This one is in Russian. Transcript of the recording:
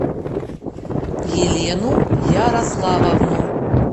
елену ярославовну